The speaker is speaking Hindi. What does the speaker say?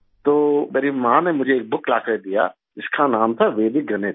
तो मेरी माँ ने मुझे एक बुक लाकर दिया जिसका नाम था वैदिक गणित